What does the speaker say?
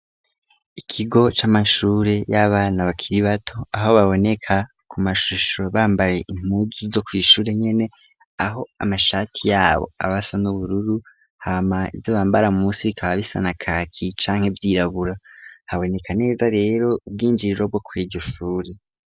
Ikigo c'amashure y'abana bakiri bato aho baboneka ku mashusho bambaye impuzu zo kw'ishure nyene, aho amashati yabo aba asa n'ubururu, hama izo bambara munsi bikaba bisa na kaki canke vyirabura. Haboneka neza rero ubw'injiriro bwo kwiryo shuri.